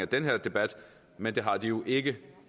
den her debat men det har de jo ikke det